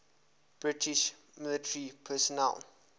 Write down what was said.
british military personnel